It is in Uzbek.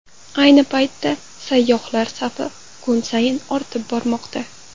Ayni paytda sayyohlar safi kun sayin ortib bormoqda.